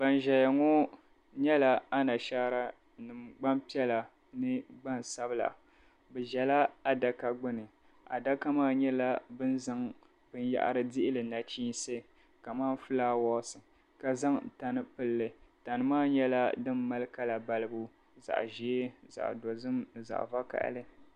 Ban zaya ŋɔ nyɛla anashaara gbampiɛla ni gbansabila. Bɛ zala adaka gbini. Adaka maa nyɛla bɛ ni zaŋ binyɛhari dihi li nachiinsi kamani fulaawaasi ka zaŋ tani pili li. Tani maa malila kala balibu zaɣ' ʒee zaɣ' dozim ni zaɣ' vakahili.